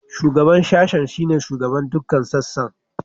Shugaban Sashen shine shugaban dukkan sassan.